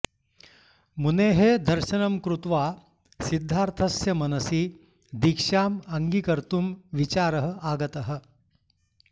मुनेः दर्शनं कृत्वा सिद्धार्थस्य मनसि दीक्षाम् अङ्गीकर्तुं विचारः आगतः